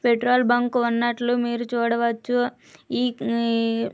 Petrol bunk ఉన్నట్లు మీరు చూడవచ్చు. ఈ పిఙ్గ --